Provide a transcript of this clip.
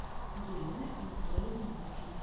елены анатольевны мухиной